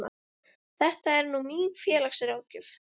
Þetta er nú mín félagsráðgjöf.